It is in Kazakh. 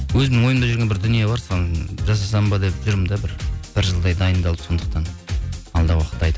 өзімнің ойымда жүрген бір дүние бар соны жасасам ба деп жүрмін де бір бір жылдай дайындалып сондықтан алдағы уақытта айтамын